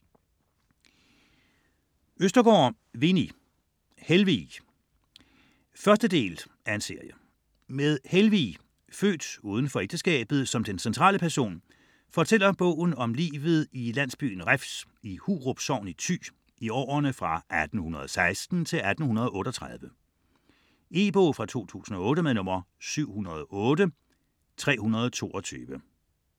Østergaard, Winni: Helvig 1.del af serie. Med Helvig, født uden for ægteskabet, som den centrale person, fortæller bogen om livet i landbyen Refs i Hurup sogn i Thy i årene 1816 til 1838. E-bog 708322 2008.